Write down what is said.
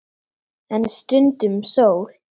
En stundum sól.